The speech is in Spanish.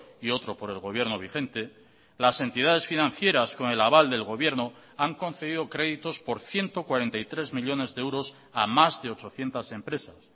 y otro por el gobierno vigente las entidades financieras con el aval del gobierno han concedido créditos por ciento cuarenta y tres millónes de euros a más de ochocientos empresas